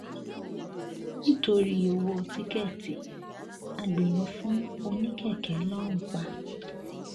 nítorí ọwọ́ tíkẹ́ẹ̀tì agbéró fún oníkèké lọ́run pa